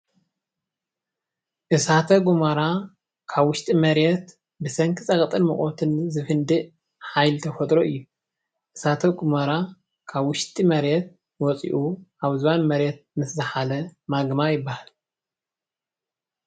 እሳተ ጎመራ ካብ ውሽጢ መሬት ብሰንኪ ፀቅጥን ሙቀትን ዝፍድእ ሓይሊ ተፈጥሎ እዩ። እሳተ ጎመራ ካብ ውሽጢ መሬት ወፂኡ ኣብ ዝባን መሬት ምስ ዛሓለ ማግማ ይበሃል።